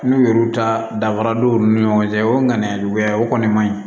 N'u yɛru ta danfara don u ni ɲɔgɔn cɛ o ŋaniya juguya o kɔni man ɲi